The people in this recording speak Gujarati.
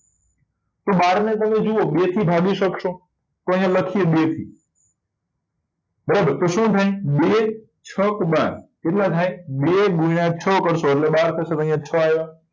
તો બાર ને તમે જોવો બે થી ભાગી શકશો તો અહિયાં લખીએ બે થી બરાબર તો શું થાય બે છક બાર કેટલા થાય બે ગુણ્યા છ કરશો એટલે બાર થશે તો અહિયાં છ આવ્યા